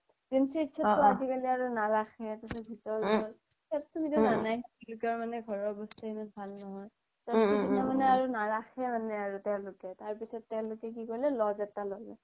GMCH তো আজিকালি আৰু নাৰাখে ভিতৰত গ্'ল চ্'ব ঘৰৰ বস্তুতো এমান ভাল নহয় তাৰ পিছ্ত তুমাৰ মানে আৰ নাৰাখে আৰু তেওলোকে তাৰ পিছ্ত তেওলোকে কি কৰিলে lodge এটা ল'লে